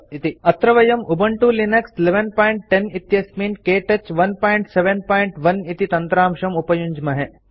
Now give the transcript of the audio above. अत्र वयम् Ubuntu Linux 1110 इत्यस्मिन् के टच 171 इति तन्त्रांशम् उपयुञ्ज्महे